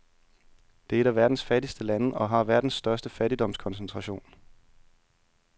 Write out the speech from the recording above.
Det er et af verdens fattigste lande og har verdens største fattigdomskoncentration.